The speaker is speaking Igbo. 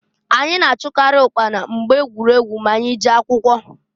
Anyị na-achụkarị ụkpana mgbe egwuregwu m'anyị jee akwụkọ.